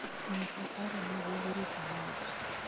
Nyisa paro mag Uhuru Kenyatta